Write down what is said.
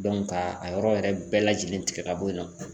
Dɔnku ka a yɔrɔ yɛrɛ bɛɛ lajɛlen tigɛ ka bɔ yen nɔ